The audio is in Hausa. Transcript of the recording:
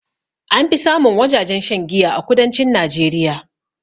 Anfi samun wajajen shan giya a kudancin najeriya